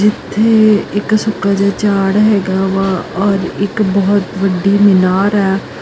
ਇੱਥੇ ਇੱਕ ਸੁੱਕਾ ਜਿਹਾ ਝਾੜ ਹੈਗਾ ਵਾ ਔਰ ਇੱਕ ਬਹੁਤ ਵੱਡੀ ਮਿਨਾਰ ਐ।